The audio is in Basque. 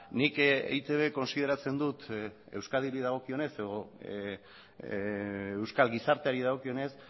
nik eitb kontsideratzen dut euskadiri dagokionez edo euskal gizarteari dagokionez